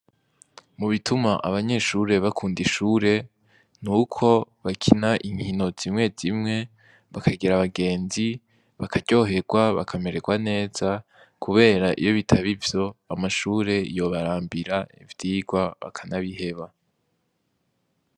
Mu bituma abanyeshure bakunda ishure nuko bakina inkino zimwe zimwe bakagira abagenzi, bakaryoherwa ,bakamererwa neza kubera iyo bitaba ivyo amashure yobarambira ivyigwa bakanabiheba.